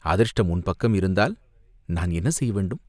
அதிர்ஷ்டம் உன் பக்கம் இருந்தால், நான் என்ன செய்ய வேண்டும்